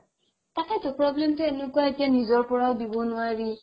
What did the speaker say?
তাকেতো problem টো এনেকুৱা এতিয়া নিজৰ পৰাও দিব নোৱাৰি